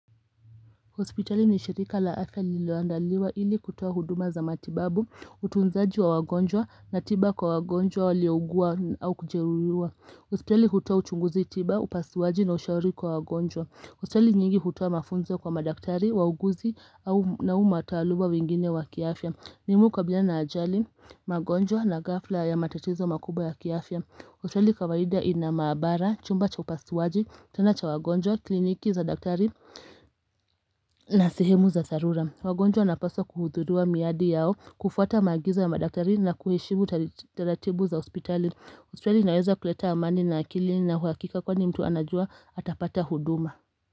Hospitali ni shirika la afya liloandaliwa ili kutoa huduma za matibabu, utunzaji wa wagonjwa na tiba kwa wagonjwa waliogua au kujeruiwa. Hospitali hutoa uchunguzi tiba, upasuwaji na ushauri kwa wagonjwa. Hospitali nyingi hutoa mafunzo kwa madaktari, wauguzi na umu mataluma wengine wa kiafya. Mimi hukabiliana na ajali, magonjwa na ghafla ya matatizo makubwa ya kiafya. Hospitali kawaida ina maabara, chumba cha upasuaji, tena cha wagonjwa, kliniki za daktari na sihemu za tharula. Wagonjwa wanapaswa kuhuthuriwa miadi yao, kufuata maagizo ya madaktari na kuheshimu taratibu za hospitali. Hospitali inaweza kuleta amani na akili na huakika kwa ni mtu anajua atapata huduma.